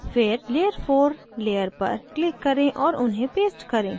फिर layer four layer पर click करें और उन्हें paste करें